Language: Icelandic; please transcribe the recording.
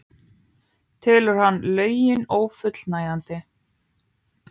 Telur hann lögin ófullnægjandi